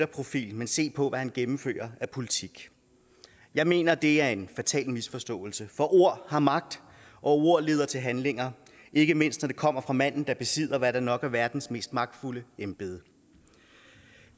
profil men se på hvad han gennemfører af politik jeg mener det er en fatal misforståelse for ord har magt og ord leder til handlinger ikke mindst når det kommer fra manden der besidder hvad der nok er verdens mest magtfulde embede